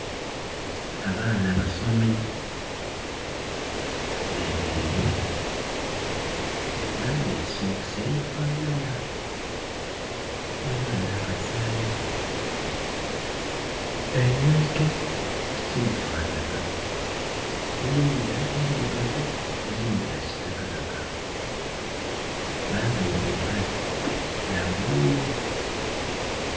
Abaana basomi bemereire bambaire sokisi edhifanhanha dhona dhona dhakasayi egaito tidhifanhanha edhindhi ndhirugavu dhakitakataka bambaire empale dha bulululu